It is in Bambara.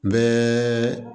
Bɛɛ